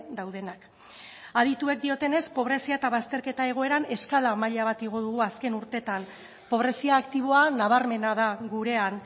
daudenak adituek diotenez pobrezia eta bazterketa egoeran eskala maila bat igo dugu azken urteetan pobrezia aktiboa nabarmena da gurean